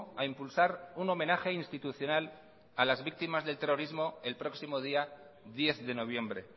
a impulsar un homenaje institucional a las víctimas del terrorismo el próximo día diez de noviembre